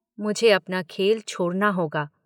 मुझे अपना खेल छोड़ना होगा।